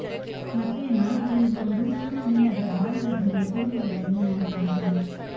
ಮತ್ತೆ ನಾಯಿಗಳು ಇರುವವರು ಸುಮ್ಮನೆ ಅದರ ಬಾಲದ ಹಿಂದೆ ತಿರುಗುವುದನ್ನು ನೋಡಿರಬಹುದು